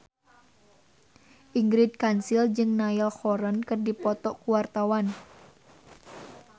Ingrid Kansil jeung Niall Horran keur dipoto ku wartawan